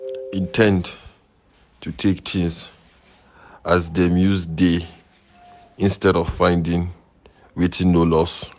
In ten d to take things as dem use dey instead of finding wetin no loss